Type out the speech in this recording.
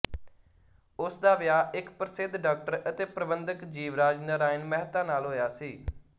ਉਸ ਦਾ ਵਿਆਹ ਇੱਕ ਪ੍ਰਸਿੱਧ ਡਾਕਟਰ ਅਤੇ ਪ੍ਰਬੰਧਕ ਜੀਵਰਾਜ ਨਰਾਇਣ ਮਹਿਤਾ ਨਾਲ ਹੋਇਆ ਸੀ